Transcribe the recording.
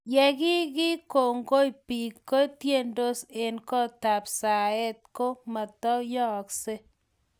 ye kiki kongoi biik ketiendos eng' kootab saet ko matukuyaakse